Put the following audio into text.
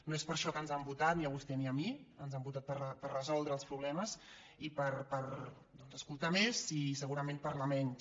no és per això que ens han votat ni a vostè ni a mi ens han votat per resoldre els problemes i per doncs escoltar més i segurament parlar menys